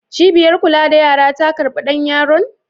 Cibiyar kula da yara ta karɓi ɗan yaron?